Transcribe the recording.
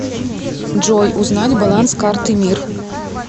джой узнать баланс карты мир